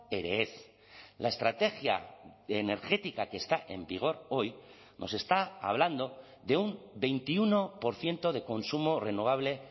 ere ez la estrategia energética que está en vigor hoy nos está hablando de un veintiuno por ciento de consumo renovable